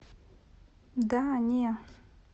да не